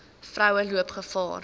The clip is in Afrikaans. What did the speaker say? vroue loop gevaar